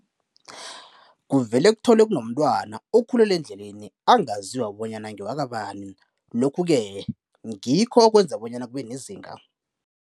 Kuvele kutholwe kunomtwana okhulela endleleni angaziwa bonyana ngewaka bani lokhu-ke ngikho okwenza bonyana kube nezinga